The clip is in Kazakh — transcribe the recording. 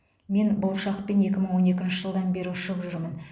мен бұл ұшақпен екі мың он екінші жылдан бері ұшып жүрмін